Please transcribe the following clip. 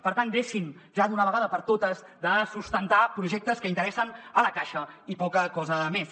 per tant deixin ja d’una vegada per totes de sustentar projectes que interessen a la caixa i poca cosa més